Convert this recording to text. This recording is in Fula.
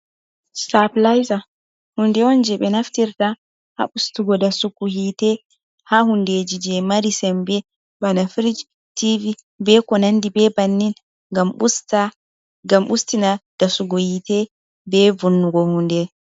Staplayzer hunde on je ɓe naftirta ha ustugo dasugo hitte ha hundejije mari sembe bana firj, tivi be konandi be bannin ngam ustina dasugo hitte be vonnugo hunde.